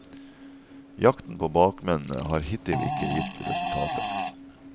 Jakten på bakmennene har hittil ikke gitt resultater.